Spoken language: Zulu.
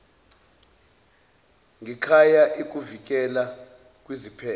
ngekhaya ikuvikela kwiziphepho